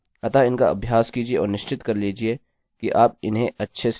अतः इनका अभ्यास कीजिये और निश्चित कर लीजिये कि आप उन्हें अच्छे से सीख लें